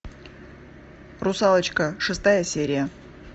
русалочка шестая серия